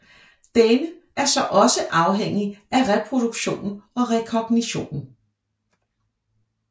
Denne er så også afhængig af reproduktionen og rekognitionen